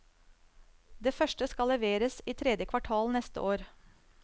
Det første skal leveres i tredje kvartal neste år.